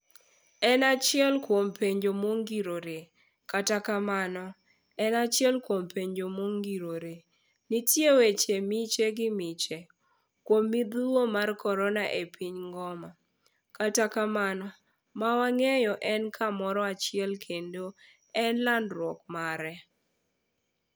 En achiel kuom penjo mongirore, kata kamano, en achiel kuom penjo mongirore. Nitie weche miche gi miche kuom midhui mar korona e piny ngoma, kata kamano mawang'eyo en kamoro achiel kende e landruok mare.